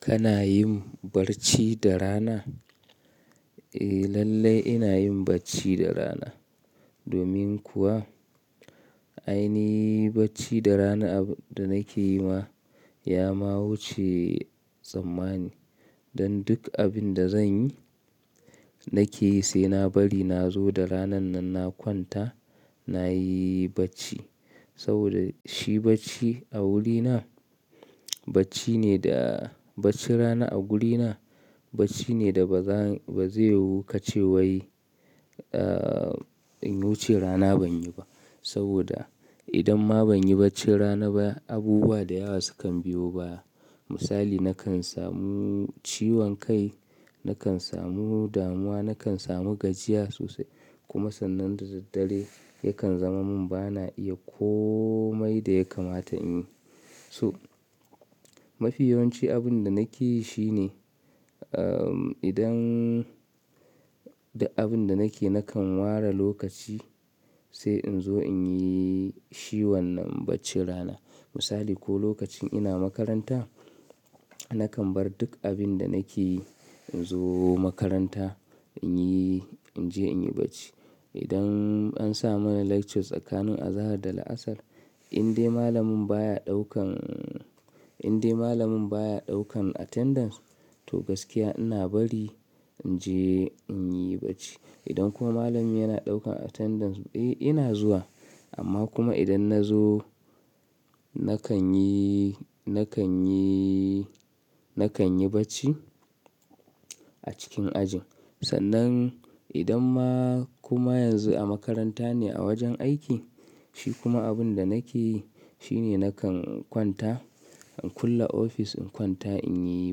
Kana yin barci da rana? Eh lallai ina yin barci da rana. Domin kuwa ainihi barci da rana abun daa nake yi ma ya ma wuce tsammani. Dan duk abin da zan yi nake yi sai na bari na zo da ranan nan na kwanta nayi barci. Saboda shi bacci a wurina barci ne da barci rana a gurina barci ne da ba zan ba zai yu ace wai in wuce rana ban yi ba. Saboda idan ma ban yi barci rana ba abubuwa da yawa sukan biyo baya. Misali nakan samu ciwon kai, nakan samu damuwa, nakan samu gajiya sosai kuma sannan da daddare yakan zama mun bana iya komai da ya kamata in yi. So mafi yawanci abun da nake yi shine idan da abin da nake nakan ware lokaci sai in zo in yi shi wannan bacci rana. Misali ko lokacin ina makaranta nakan bar duk abin da nake yi in zo makaranta in yi-- in je in yi bacci. Idan an sa mana lectures tsakanin azahar da la'asar in dai malamin baya ɗaukan, in dai malamin baya ɗaukan attendance to gaskiya ina bari in je in yi bacci. Idan kuma malami yana ɗaukan attendance eh ina zuwa amma kuma idan na zo nakan yi, nakan yi, nakan yi bacci a cikin ajin. Sannan idan ma kuma yanzu a makaranta ne a wajen aiki shi kuma abin da nake yi shine nakan kwanta in kulle ofis in kwanta in yi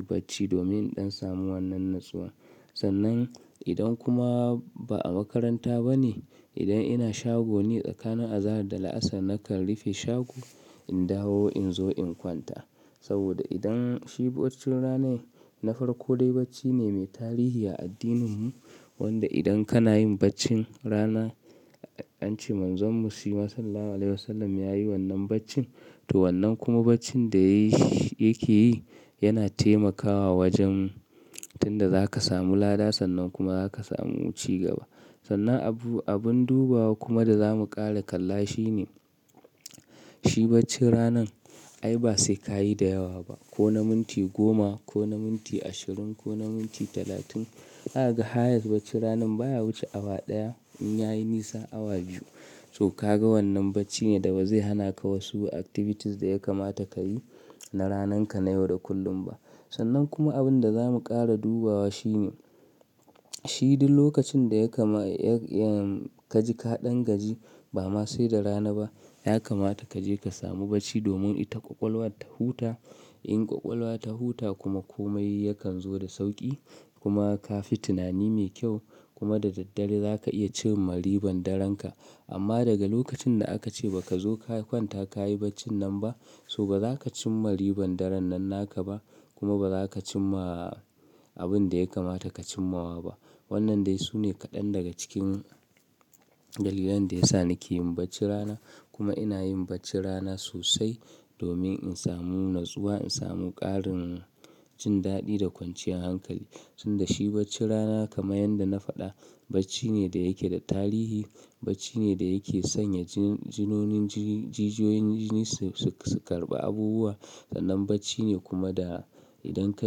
bacci domin in samu wannan natsuwa. Sannan idan kuma ba a makaranta ba ne idan ina shago ne tsakanin azahar da la'asar nakan rufe shago in dawo in zo in kwanta. Saboda idan shi barci ranar na farko dai barci ne mai tarihi a addinin mu wanda idan kana yin barcin rana an ce Manzonmu ya yi wannan barci to wannan kuma barci da yake yi yana taimakawa wajen tunda za ka samu lada sannan kuma za ka samu cigaba. Sannan abu, abin dubawa kuma da zamu ƙara kalla shi ne shi barci ranar ai ba sai ka yi da yawa ba ko na minti goma ko na minti ashirin ko na minti talatin. Aga highest barcin ranan baya wuce awa ɗaya in yayi nisa awa biyu. To kaga wannan barci ne da ba zai hana ka wasu activities da ya kamata ka yi na ranar ka na yau da kullum ba. Sannan kuma abin da zamu ƙara dubawa shi ne shi duk lokacin da ya kama ka ji ka ɗan gaji ba ma sai da rana ba ya kamata ka je ka samu barci domin ita ƙwaƙwalwa ta huta in ƙwaƙwalwa ta huta kuma komai yakan zo da sauƙi kuma ka fi tunani mai kyau kuma da daddare za ka iya cin ma ribar darenka. Amma daga lokacin da aka ce ba ka zo ka kwanta ka yi bacci nan ba so ba za ka cin ribar daren nan naka ba kuma ba za ka cin ma abin da ya kamata ka cimmawa ba. Wannan dai sune kaɗan daga cikin dalilan da ya sa nake yin barcin rana kuma ina yin bacci rana sosai domin in samu natsuwa in samu ƙarin jin daɗi da kwanciyar hankali. Tunda shi barcin rana kamar yadda na faɗa barci ne da yake da tarihi barci ne da yake sanya jijiyoyin jini su karɓi abubuwa sannan bacci ne kuma da idan ka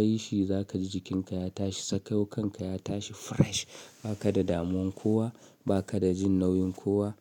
yi shi za ka ji jikinka ya tashi sakayau kanka ya tashi fresh ba ka da damuwar kowa ba ka da jin nauyin kowa.